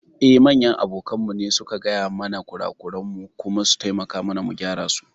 Eh, manyan abokanmu su ne suke gaya mana kurakuran mu kuma su taimaka mana mu gyara su.